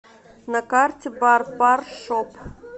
на карте барпар шоп